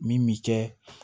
Min bi kɛ